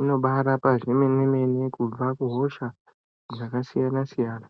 inobva yarapa kwemene-mene kubva kuhosha dzakasiyana-siyana.